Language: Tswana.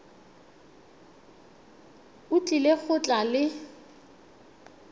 o tlile go tla le